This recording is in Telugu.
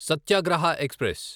సత్యాగ్రహ ఎక్స్ప్రెస్